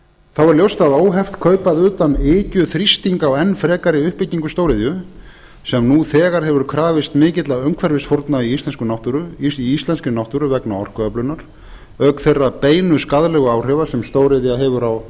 þá er ljóst að óheft kaup að utan ykju þrýsting á enn frekari uppbyggingu stóriðju sem nú þegar hefur krafist mikilla umhverfisfórna í íslenskri náttúru vegna orkuöflunar auk þeirra beinu skaðlegu áhrifa sem stóriðja hefur á